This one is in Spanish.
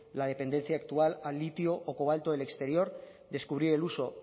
la dependencia actual al litio o cobalto del exterior descubrir el uso